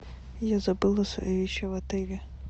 я забыла свои вещи в отеле